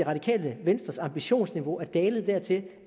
radikale venstres ambitionsniveau er dalet dertil